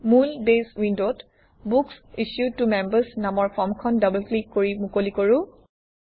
মূল বেছ উইণ্ডত books issued to members নামৰ ফৰ্মখন ডবল ক্লিক কৰি মুকলি কৰোঁ